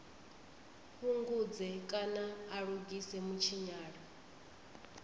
fhungudze kana a lugise mutshinyalo